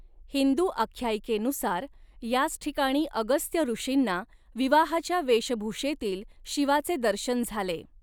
हिंदू आख्यायिकेनुसार, याच ठिकाणी अगस्त्य ऋषींना विवाहाच्या वेशभूषेतील शिवाचे दर्शन झाले.